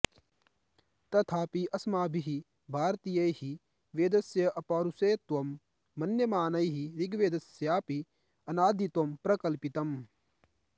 तथापि अस्माभिः भारतीयैः वेदस्य अपौरुषेयत्वं मन्यमानैः ऋग्वेदस्यास्यापि अनादित्वं प्रकल्पितम्